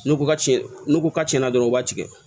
N'u ko ka cɛn n'u ko ka cɛnna dɔrɔn u b'a tigɛ